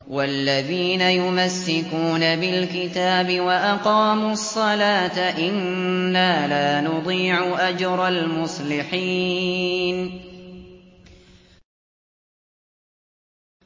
وَالَّذِينَ يُمَسِّكُونَ بِالْكِتَابِ وَأَقَامُوا الصَّلَاةَ إِنَّا لَا نُضِيعُ أَجْرَ الْمُصْلِحِينَ